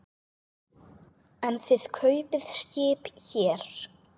En þið kaupið skip hér.